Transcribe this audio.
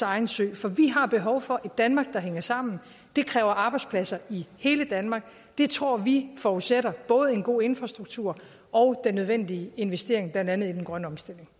egen sø for vi har behov for et danmark der hænger sammen det kræver arbejdspladser i hele danmark det tror vi forudsætter både en god infrastruktur og den nødvendige investering blandt andet i den grønne omstilling